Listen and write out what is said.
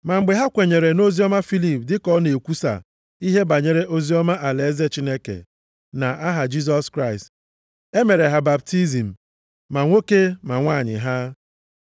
Ma mgbe ha kwenyere nʼoziọma Filip dịka ọ na-ekwusa ihe banyere oziọma alaeze Chineke na aha Jisọs Kraịst, e mere ha baptizim, ma nwoke ma nwanyị ha.